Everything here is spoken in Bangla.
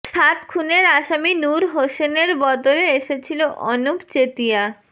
সাত খুনের আসামী নুর হোসেনের বদলে এসেছিল অনুপ চেতিয়া